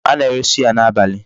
A na-ere suya n'abalị.